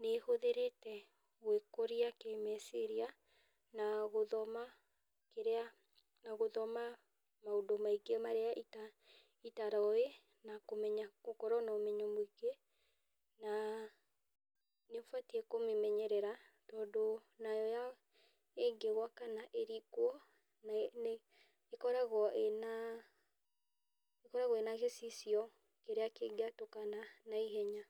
Nĩ hũthĩrĩte gwĩkũria kĩ meciria na gũthoma kĩrĩa, na gũthoma maũndũ maingĩ marĩa itaroĩ na gũkorwo na ũmenyo mũingĩ na nĩũbatiĩ kũmĩmenyerera tondũ nayo ĩngĩgũa kana ĩringwo, ĩkoragwo ĩ na gĩcicio kĩrĩa kĩngĩetũkana na ihenya.